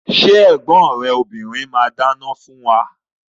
Ṣé ẹ̀gbọ́n rẹ obìrin máa dáná fún wa?